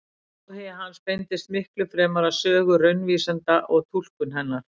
Áhugi hans beindist miklu fremur að sögu raunvísinda og túlkun hennar.